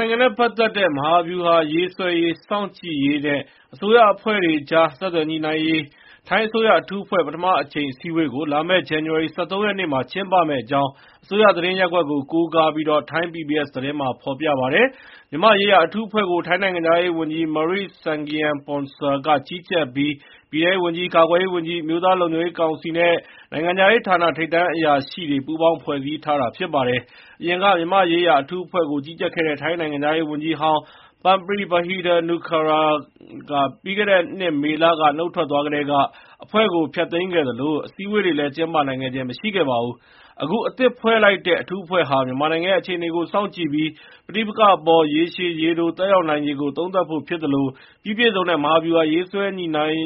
နိုင်ငံနဲ့ ပတ်သက်တဲ့ မဟာဗျူဟာရေးဆွဲရေး၊ စောင့်ကြည့်ရေးနဲ့ အစိုးရအဖွဲ့တွေကြား ဆက်သွယ်ညှိနှိုင်းရေး ထိုင်းအစိုးရ အထူးအဖွဲ့ ပထမအကြိမ်အစည်းအဝေးကို လာမယ့် ဇန္နဝါရီလ ၁၃ ရက်နေ့ ကျင်းပမယ့်အကြောင်း အစိုးရသတင်းရပ်ကွက်ကို ကိုးကားပြီး ထိုင်း PBS သတင်းမှာ ဖေါ်ပြပါတယ်။ မြန်မာ့ရေးရာအထူးအဖွဲ့ကို ထိုင်း နိုင်ငံခြားရေးဝန်ကြီး Maris Sagiampongsa က ကြီးကြပ်ပြီး ပြည်ထဲရေး ဝန်ကြီး၊ ကာကွယ်ရေးဝန်ကြီး၊ အမျိုးသားလုံခြုံရေးကောင်စီနဲ့ နိုင်ငံခြားရေးဌာန ထိပ်တန်းအရာရှိတွေ ပူးပေါင်း ဖွဲ့စည်းထားတာ ဖြစ်ပါတယ်။ အရင်က မြန်မာ့ရေးရာ အထူးအဖွဲ့ကို ကြီးကြပ်ခဲ့တဲ့ ထိုင်းနိုင်ငံခြားရေးဝန်ကြီးဟောင်း Parnpree Bahiddha-Nukara ပြီးခဲ့တဲ့နှစ်မေလ နုတ်ထွက်သွားကတည်းက အဖွဲ့ကို ဖျက်သိမ်းခဲ့သလို အစည်းအဝေးတွေလည်း ကျင်းပနိုင်ခဲ့ခြင်း မရှိပါဘူး။ အခု အသစ်ဖွဲ့စည်းလိုက်တဲ့ အထူးအဖွဲ့ဟာ မြန်မာနိုင်ငံရဲ့ အခြေအနေကို စောင့်ကြည့်ပြီး ပဋိပက္ခအပေါ် ရေရှည် ရေတို သက်ရောက်နိုင်ခြေကို သုံးသပ်ဖို့ ဖြစ်သလို ပြီးပြည့်စုံတဲ့ မဟာဗျူဟာ ရေးဆွဲနိုင်